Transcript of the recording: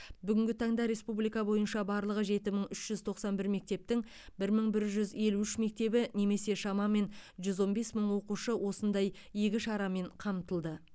бүгінгі таңда республика бойынша барлығы жеті мың үш жүз тоқсан бір мектептің бір мың бір жүз елу үш мектебі немесе шамамен жүз он бес мың оқушы осындай игі шарамен қамтылды